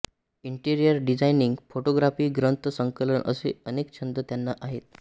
interior designing photography ग्रंथ संकलन असे अनेक छंद त्यांना आहेत